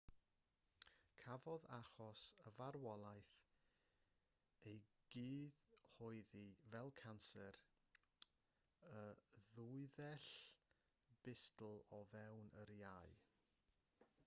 cafodd achos y farwolaeth ei gyhoeddi fel canser y ddwythell bustl o fewn yr iau